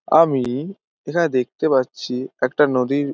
আমি ই এখানে দেখতে পাচ্ছি একটা নদীর --